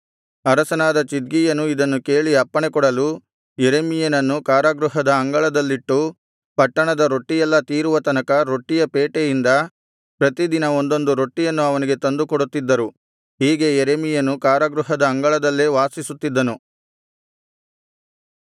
ಅರಸನಾದ ಚಿದ್ಕೀಯನು ಇದನ್ನು ಕೇಳಿ ಅಪ್ಪಣೆ ಕೊಡಲು ಯೆರೆಮೀಯನನ್ನು ಕಾರಾಗೃಹದ ಅಂಗಳದಲ್ಲಿಟ್ಟು ಪಟ್ಟಣದ ರೊಟ್ಟಿಯೆಲ್ಲಾ ತೀರುವ ತನಕ ರೊಟ್ಟಿಯ ಪೇಟೆಯಿಂದ ಪ್ರತಿದಿನ ಒಂದೊಂದು ರೊಟ್ಟಿಯನ್ನು ಅವನಿಗೆ ತಂದು ಕೊಡುತ್ತಿದ್ದರು ಹೀಗೆ ಯೆರೆಮೀಯನು ಕಾರಾಗೃಹದ ಅಂಗಳದಲ್ಲೇ ವಾಸಿಸುತ್ತಿದ್ದನು